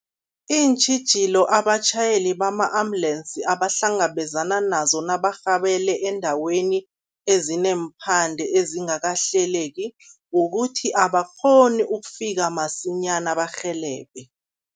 Iintjhijilo abatjhayeli bama-ambulensi abahlangabezana nazo nabarhabele eendaweni ezineemphande ezingakahleleki, kukuthi abakghoni ukufika masinyana barhelebhe.